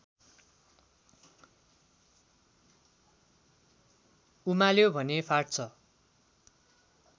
उमाल्यो भने फाट्छ